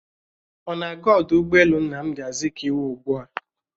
Ọ na-aga ọdụ ụgbọelu Nnamdi Azikiwe ugbua?